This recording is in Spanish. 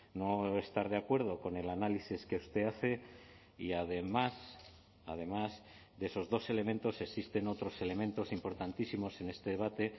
no estar de acuerdo con el análisis que usted hace y además además de esos dos elementos existen otros elementos importantísimos en este debate